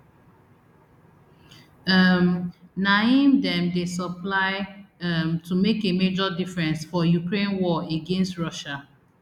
um na im dem dey supply um to make a major difference for ukraine war against russia